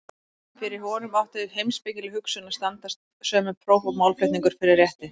Fyrir honum átti heimspekileg hugsun að standast sömu próf og málflutningur fyrir rétti.